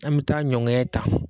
An bɛ taa ɲɔn ŋɛɲɛn ta